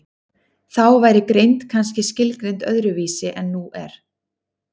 þá væri greind kannski skilgreind öðru vísi en nú er